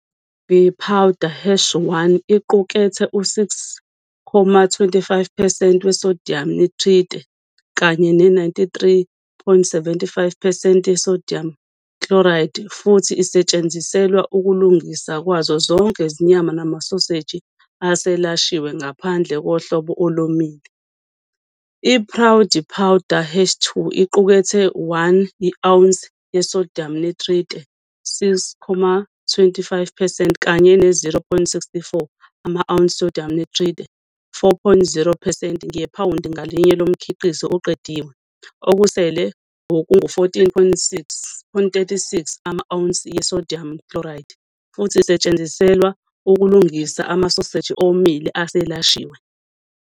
We-powder hash 1 iqukethe u-6.25 percent we-sodium nitrite kanye ne-93.75 percent ye-sodium chloride futhi isetshenziselwa ukulungiswa kwazo zonke izinyama namasoseji eselashiwe ngaphandle kohlobo olomile. Iprague powder hash 2 iqukethe 1 i-ounce ye-sodium nitrite, 6.25 percent, kanye ne-0.64 ama-ounce sodium nitrate, 4.0 percent, ngephawundi ngalinye lomkhiqizo oqediwe, okusele okungu-14.36 ama-ounces yi-sodium chloride, futhi isetshenziselwa ukulungisa amasoseji omile eselashiwe.